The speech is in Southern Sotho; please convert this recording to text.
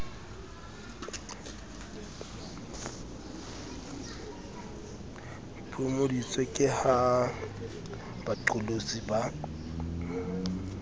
phomoditswe ke ha baqolotsi ba